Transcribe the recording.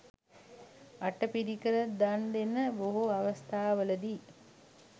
අටපිරිකර දන් දෙන බොහෝ අවස්ථාවලදී